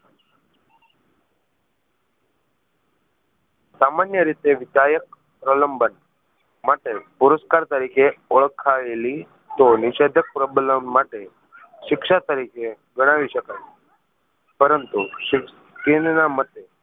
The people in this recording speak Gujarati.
સામાન્ય રીતે વિધાયક પ્રલંબન માટે પુરુષકાર તરીકે ઓળખાયેલી તો નિષેધક પ્રબલમ માટે શિક્ષા તરીકે ગણાવી શકાય પરંતુ કિન્ડ ના મતે